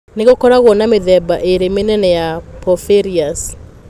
Nĩ gũkoragũo na mĩthemba ĩrĩ mĩnene ya porphyrias.